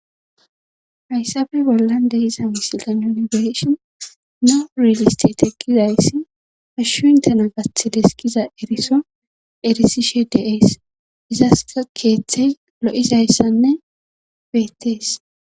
hayssape bollan de'iza misilen nuni be'ishin nurilistic teqqizayssi hashshu intena gaththides gizayssaz eriso erisishe deees izasa keeththey lo'izayssanne beettees.